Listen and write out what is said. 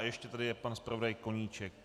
A ještě je tady pan zpravodaj Koníček?